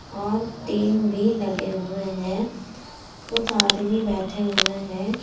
और टीन भी लगे हुए है कुछ आदमी बैठे हुए है।